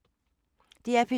DR P2